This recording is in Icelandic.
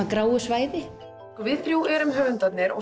gráu svæði við þrjú erum höfundarnir og